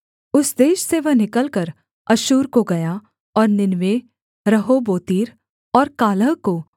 उस देश से वह निकलकर अश्शूर को गया और नीनवे रहोबोतीर और कालह को